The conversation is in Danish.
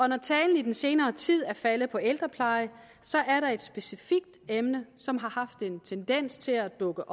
når talen i den senere tid er faldet på ældrepleje er der et specifikt emne som har haft en tendens til at dukke